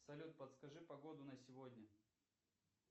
салют подскажи погоду на сегодня